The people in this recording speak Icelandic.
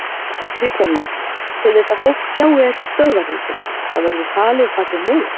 Kristján Már: Til þess að fólk sjái ekki stöðvarhúsið, það verður falið bak við móa?